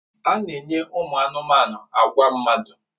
A na-enye anụmanụ na agwa mmadụ.